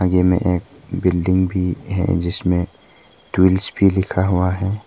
यह में एक बिल्डिंग भी है जिसमें ट्विल्स भी लिखा हुआ है।